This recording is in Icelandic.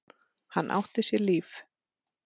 Hann átti sér líf.